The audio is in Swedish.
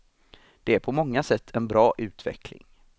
Det är på många sätt en bra utveckling.